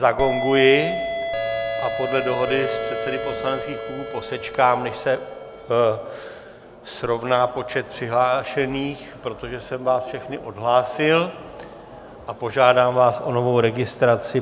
Zagonguji a podle dohody s předsedy poslaneckých klubů posečkám, než se srovná počet přihlášených, protože jsem vás všechny odhlásil, a požádám vás o novou registraci.